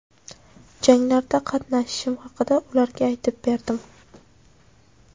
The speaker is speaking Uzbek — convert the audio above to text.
Janglarda qatnashishim haqida ularga aytib berdim.